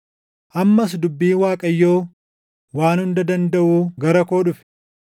Ammas dubbiin Waaqayyo Waan Hunda Dandaʼuu gara koo dhufe.